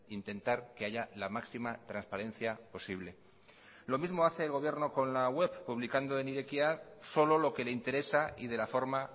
intentar que haya la máxima transparencia posible lo mismo hace el gobierno con la web publicando en irekia solo lo que le interesa y de la forma